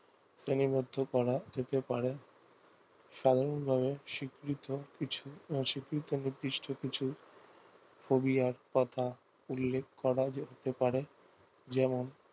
শ্রেণীবদ্ধ করা যেতে পারে সাধারণ ভাবে স্বীকৃত কিছু স্বীকৃত নির্দিষ্ট কিছু ফোবিয়া কথা উল্লেখ করা যেতে পারে যেমন